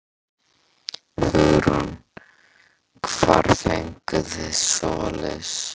Hugrún: Hvar fenguð þið svoleiðis?